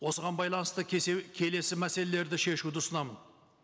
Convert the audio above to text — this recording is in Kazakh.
осыған байланысты келесі мәселелерді шешуді ұсынамын